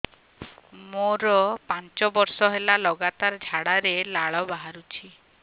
ମୋରୋ ପାଞ୍ଚ ବର୍ଷ ହେଲା ଲଗାତାର ଝାଡ଼ାରେ ଲାଳ ବାହାରୁଚି